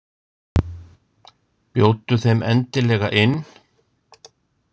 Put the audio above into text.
Bjóddu þeim endilega inn.